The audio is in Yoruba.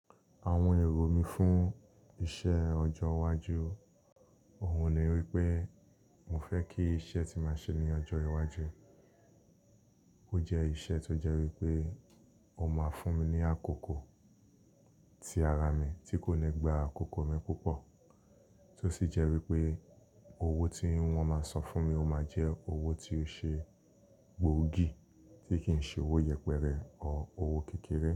Àwọn èrò mí fún iṣẹ́ ọjọ́ iwájú, òun ni wípé mo fẹ́ kí iṣẹ́ tí máa ṣe ní ọjọ́ iwájú. Bó jẹ iṣẹ́ tó jẹ wípé ó máa fún mi ní àkókò, ti ara mi, tí kò mi gba àkókò mi púpọ̀. Tó sì jẹ́ wípé owó tí wón máa san fún mi, ó máa jẹ́ owó tí ó ṣe gbòógì tí kì ń ṣe owó yẹpẹrẹ ọ́ owó kékeré.